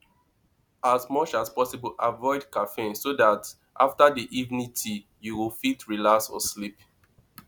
as much as possible avoid caffeine so dat after di evening tea you fit relax or sleep